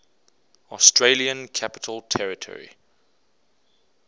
australian capital territory